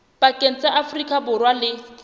pakeng tsa afrika borwa le